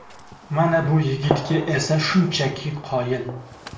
Mana bu yigitga esa shunchaki qoyil!